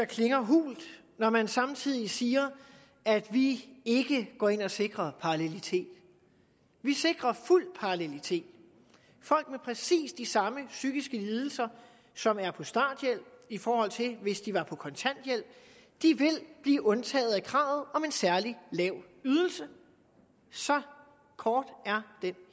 klinger hult når man samtidig siger at vi ikke går ind og sikrer parallelitet vi sikrer fuld parallelitet folk med præcis de samme psykiske lidelser som er på starthjælp i forhold til hvis de var på kontanthjælp vil blive undtaget kravet om en særlig lav ydelse så kort er den